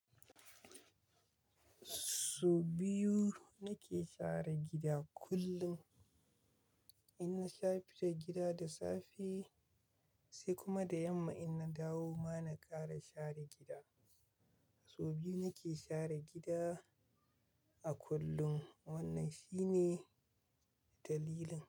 So biyu nake share gida kullum. In na share gida da safe sai kuma da yamma ina dawo ma na ƙara share gida. So biyu nake share gida a kullum. Wannan shine dalilin.